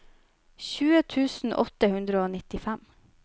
tjue tusen åtte hundre og nittifem